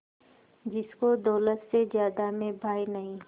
जिसको दौलत से ज्यादा मैं भाई नहीं